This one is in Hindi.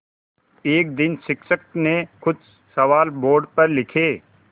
एक दिन शिक्षक ने कुछ सवाल बोर्ड पर लिखे